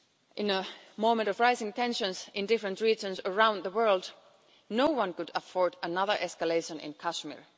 In a moment of rising tensions in different regions around the world, no one can afford another escalation in Kashmir.